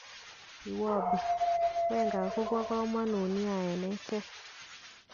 Iwobi:Wenger kobokomonut nia eng echeg